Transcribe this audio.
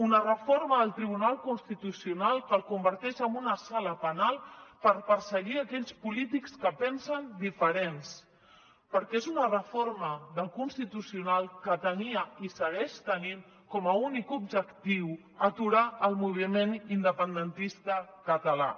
una reforma del tribunal constitucional que el converteix en una sala penal per perseguir aquells polítics que pensen diferent perquè és una reforma del constitucional que tenia i segueix tenint com a únic objectiu aturar el moviment independentista català